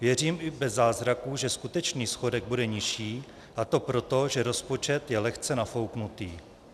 Věřím, i bez zázraků, že skutečný schodek bude nižší, a to proto, že rozpočet je lehce nafouknutý.